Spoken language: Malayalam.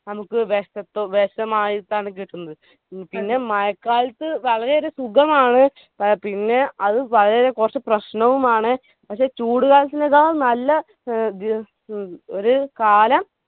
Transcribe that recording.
നമ്മുക്ക് വെശത്തു വേഷമായിട്ടാണ് കിട്ടുന്നത്. പിന്നെ മഴക്കാലത് വളരെയേറെ സുഖമാണ് എ അ പിന്നെ അത് കൊർച് പ്രശ്നവുമാണ്. പക്ഷെ ചൂട് കാലത്തിനേക്കാളും നല്ല ഏർ ഉം ഒരു കാലം